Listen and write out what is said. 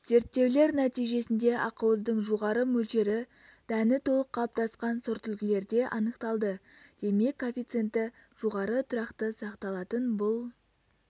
зерттеулер нәтижесінде ақуыздың жоғары мөлшері дәні толық қалыптасқан сортүлгілерде анықталды демек коэффициенті жоғары тұрақты сақталатын бұл